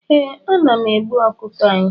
eeh, ana m egbu ọkụkọ anyị